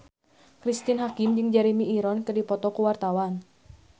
Cristine Hakim jeung Jeremy Irons keur dipoto ku wartawan